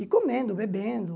E comendo, bebendo.